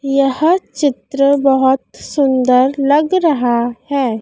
यह चित्र बहोत सुंदर लग रहा है।